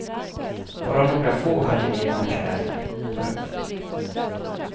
Bara några få hade egna kläder. punkt